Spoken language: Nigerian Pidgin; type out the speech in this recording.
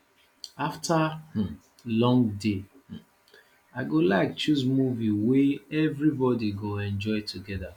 after um long day um i go like choose movie wey everybody go enjoy together